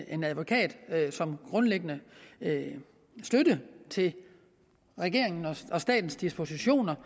en advokat som grundlæggende støtte til regeringens og statens dispositioner